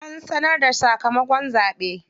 An sanar da sakamakon zaɓe.